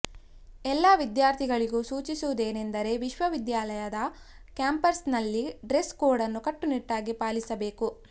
ಎಲ್ಲ ವಿದ್ಯಾರ್ಥಿಗಳಿಗೂ ಸೂಚಿಸುವುದೇನೆಂದರೆ ವಿಶ್ವವಿದ್ಯಾನಿಲಯದ ಕ್ಯಾಂಪಸ್ ನಲ್ಲಿ ಡ್ರೆಸ್ ಕೋಡ್ ನ್ನು ಕಟ್ಟುನಿಟ್ಟಾಗಿ ಪಾಲಿಸಬೇಕು